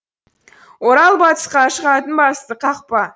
орал батысқа шығатын басты қақпа